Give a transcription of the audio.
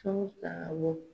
Fɛnw awɔ